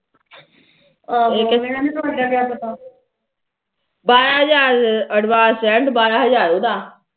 ਬਾਰਾ ਹਜਾਰ advance rent ਬਾਰਾ ਹਜਾਰ ਉਹਦਾ